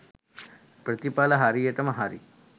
ප්‍රතිඵල හරියටම හරි